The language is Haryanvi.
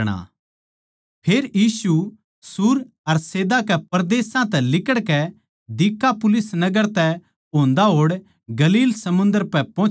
फेर यीशु सूर अर सैदा के परदेसां तै लिकड़कै दिकापुलिस नगर तै होंदा होड़ गलील समुन्दर पै पोहुच्या